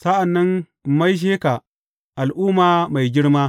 Sa’an nan in maishe ka al’umma mai girma.